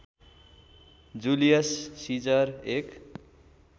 Julius Caesar एक